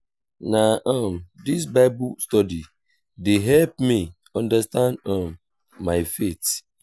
na um dis bible study dey help me understand um my faith.